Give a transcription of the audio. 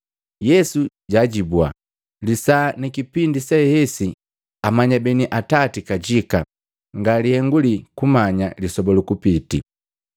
Yesu jaajibua “Lisaa ni kipindi sehesi amanya beni Atati kajika, nga lihengu lii kumanya lisoba lukupiti.